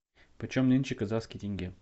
почем нынче казахский тенге